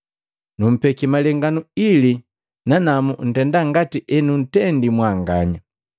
Numpeki malenganu ili nanamu ntenda ngati enuntendii mwanganya.